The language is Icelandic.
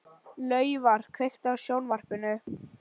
Laufar, kveiktu á sjónvarpinu.